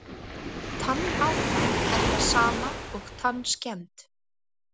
Tannáta er það sama og tannskemmd.